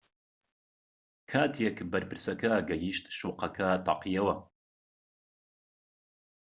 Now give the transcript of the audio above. کاتێک بەرپرسەکە گەیشت شوقەکە تەقیەوە